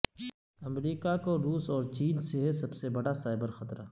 امریکہ کو روس اور چین سے ہے سب سے بڑا سائبر خطرہ